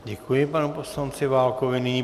Děkuji panu poslanci Válkovi.